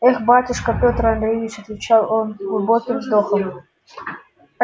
эх батюшка петр андреич отвечал он с глубоким вздохом